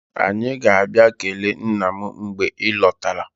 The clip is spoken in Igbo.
Anyị ga-abịa kelee nna m mgbe ị lọtara.